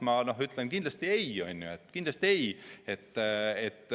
Kui jah, siis ma ütlen kindlasti ei.